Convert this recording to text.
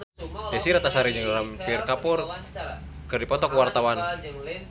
Desy Ratnasari jeung Ranbir Kapoor keur dipoto ku wartawan